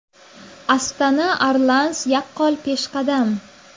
Astana Arlans yaqqol peshqadam.